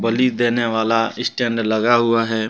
देने वाला स्टैंड लगा हुआ है।